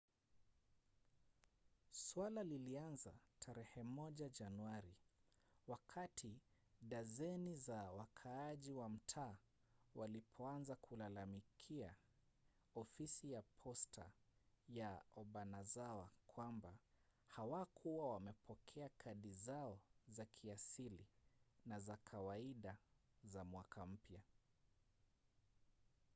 suala lilianza tarehe moja januari wakati dazeni za wakaaji wa mtaa walipoanza kulalamikia ofisi ya posta ya obanazawa kwamba hawakuwa wamepokea kadi zao za kiasili na za kawaida za mwaka mpya